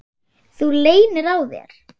Þú leynir á þér!